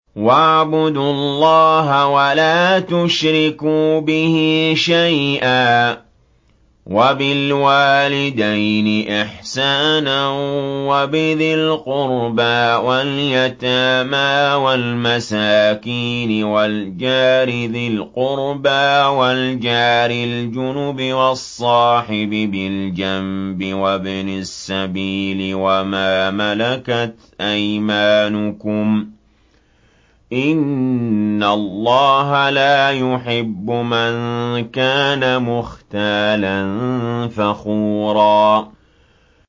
۞ وَاعْبُدُوا اللَّهَ وَلَا تُشْرِكُوا بِهِ شَيْئًا ۖ وَبِالْوَالِدَيْنِ إِحْسَانًا وَبِذِي الْقُرْبَىٰ وَالْيَتَامَىٰ وَالْمَسَاكِينِ وَالْجَارِ ذِي الْقُرْبَىٰ وَالْجَارِ الْجُنُبِ وَالصَّاحِبِ بِالْجَنبِ وَابْنِ السَّبِيلِ وَمَا مَلَكَتْ أَيْمَانُكُمْ ۗ إِنَّ اللَّهَ لَا يُحِبُّ مَن كَانَ مُخْتَالًا فَخُورًا